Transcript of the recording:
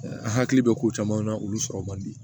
An hakili bɛ ko camanw na olu sɔrɔ man di